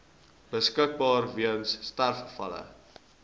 beskikbaar weens sterfgevalle